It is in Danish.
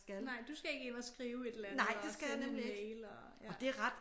Nej du skal ikke ind og skrive et eller andet og sende en mail og ja